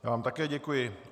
Já vám také děkuji.